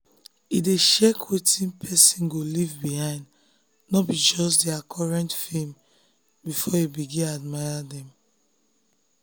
e e dey check wetin person go leave behind no be just their current fame before e begin admire dem.